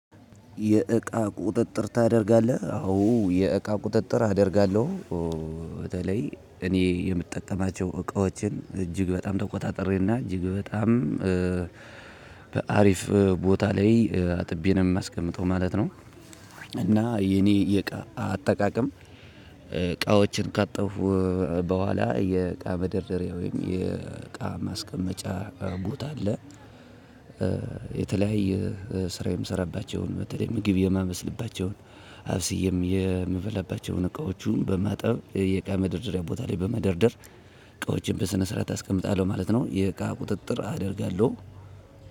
የእቃ ቁጥጥር ታደርጋለህ? አዎ የእቃ ቁጥጥር አደርጋለሁ። በተለይ እኔ የምጠቀማቸው እቃዎችን እጅግ በጣም ተቆጣጥሬና እጅግ በጣም በአሪፍ ቦታ ላይ አጥቤ ነው የማስቀምጠው ማለት ነው። እና የኔ የእቃ አጠቃቀም እቃዎችን ካጠብኩ በኃላ የእቃ መደርደሪያ ወይም የእቃ ማስቀመጫ ቦታ አለ- የተለያየ ስራ የምሰራባቸውን በተለይ ምግብ የማበስልባቸውን አብስዬም የምበላባቸውን እቃዎቹን በማጠብ የእቃ መደርደሪያ ቦታ ላይ በመደርደር እቃዎቼን በስነ ስርዓት አስቀምጣለሁ ማለት ነው። የእቃ ቁጥጥር አደርጋለሁ።